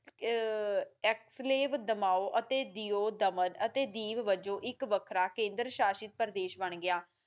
ਅਕ੍ਸ ਲੈਬ ਦਮਾਓ ਅਤੇ ਜੀਓ ਦਮਨ ਅਤੇ ਦੀਪ ਵਜੋਂ ਇੱਕ ਵਖਰਾ ਕੇਦਰ ਸ਼ਾਸ਼ਿਤ ਪ੍ਰਦੇਸ ਬਾਣ ਗਿਆ